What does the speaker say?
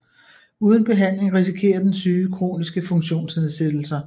Uden behandling risikerer den syge kroniske funktionsnedsættelser